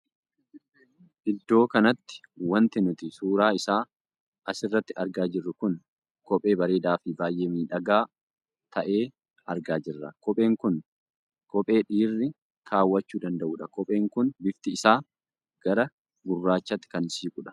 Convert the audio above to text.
Iddoo kanatti wanti nuti suuraa isaa as irratti argaa jirru kun kophee bareedaa fi baay'ee miidhagaa tahe argaa jirra. kopheen kun kophee dhiirri kaawwachuu danda'uudha. kopheen kun bifti isaa gara gurraachatti kan siquudha.